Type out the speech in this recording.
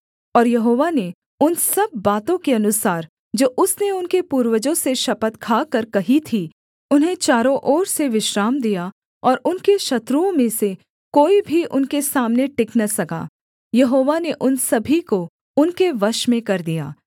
और यहोवा ने उन सब बातों के अनुसार जो उसने उनके पूर्वजों से शपथ खाकर कही थीं उन्हें चारों ओर से विश्राम दिया और उनके शत्रुओं में से कोई भी उनके सामने टिक न सका यहोवा ने उन सभी को उनके वश में कर दिया